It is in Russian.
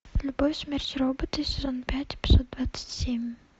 любовь смерть роботы сезон пять эпизод двадцать семь